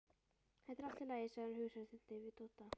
Þetta er allt í lagi, segir hann hughreystandi við Dodda.